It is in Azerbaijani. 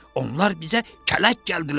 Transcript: Onlar bizə kələk gəldilər.